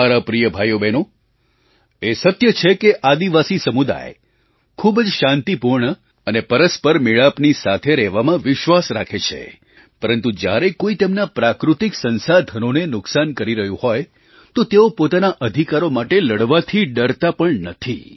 મારા પ્રિય ભાઈઓબહેનો એ સત્ય છે કે આદિવાસી સમુદાય ખૂબ જ શાંતિપૂર્ણ અને પરસ્પર મેળાપની સાથે રહેવામાં વિશ્વાસ રાખે છે પરંતુ જ્યારે કોઈ તેમનાં પ્રાકૃતિક સંસાધનોને નુકસાન કરી રહ્યું હોય તો તેઓ પોતાના અધિકારો માટે લડવાથી ડરતા પણ નથી